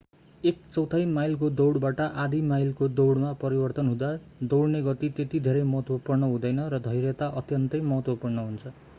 एक चौथाइ माइलको दौडबाट आधा माइलको दौडमा परिवर्तन हुँदा दौडने गति त्यति धेरै महत्त्वपूर्ण हुँदैन र धैर्यता अत्यन्तै महत्त्वपूर्ण हुन्छ